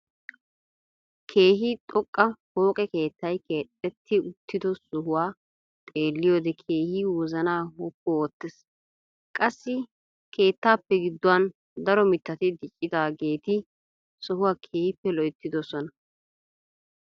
Keehi xooqqa pooqe keettay keexetti uttido sohuwaa xeelliyoode keehi wozanaa woppu oottees. qassi keettaappe giduwaan daro mittati diccidaageti sohuwaa keehippe loyttidoosna.